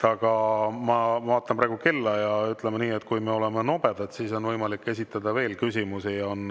Aga ma vaatan praegu kella ja ütleme nii, et kui me oleme nobedad, siis on võimalik esitada veel küsimusi.